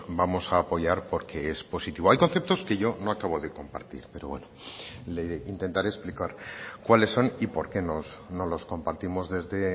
vamos a apoyar porque es positivo hay conceptos que yo no acabo de compartir pero bueno le intentaré explicar cuáles son y por qué no los compartimos desde